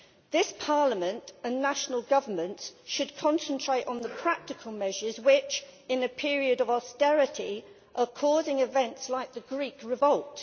This Parliament and national governments should concentrate on the practical measures which, in a period of austerity, are causing events like the Greek revolt.